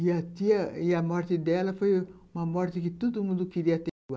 E a tia, e a morte dela foi uma morte que todo mundo queria ter igual.